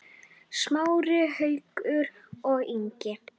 Smári, Haukur og Ingi.